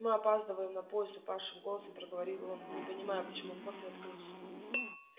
мы опаздываем на поезд упавшим голосом проговорил он не понимаю почему вход не открылся